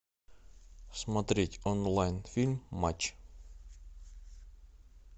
смотреть онлайн фильм матч